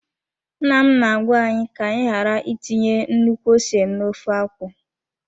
Nna m na-agwa anyị ka anyị ghara itinye nnukwu ose n'ofe akwụ ya.